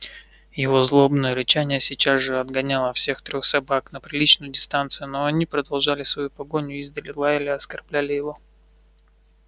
его злобное рычание сейчас же отгоняло всех трёх собак на приличную дистанцию но они продолжали свою погоню издали лаяли оскорбляли его